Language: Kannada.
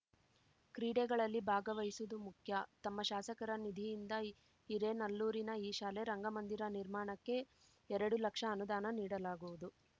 ಕ್ರೀಡೆಗಳಲ್ಲಿ ಭಾಗವಹಿಸುವುದು ಮುಖ್ಯ ತಮ್ಮ ಶಾಸಕರ ನಿಧಿಯಿಂದ ಹಿರೇನಲ್ಲೂರಿನ ಈ ಶಾಲೆ ರಂಗಮಂದಿರ ನಿರ್ಮಾಣಕ್ಕೆ ಎರಡು ಲಕ್ಷ ಅನುದಾನ ನೀಡಲಾಗುವುದು